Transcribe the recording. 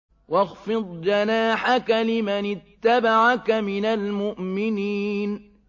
وَاخْفِضْ جَنَاحَكَ لِمَنِ اتَّبَعَكَ مِنَ الْمُؤْمِنِينَ